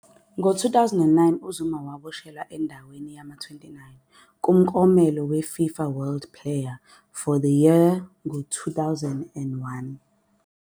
Ngo2001 uZuma waboshelwa endaweni yama-29 kumklomelo weFIFA World Player of the Year ngo2001.